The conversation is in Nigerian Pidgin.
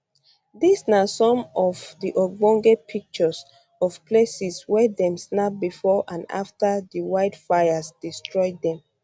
dis na some of um di ogbonge pictures um of places wey dem snap bifor and afta di wildfires destroy dem